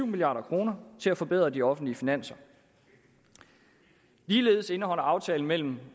milliard kroner til at forbedre de offentlige finanser ligeledes indholder aftalen mellem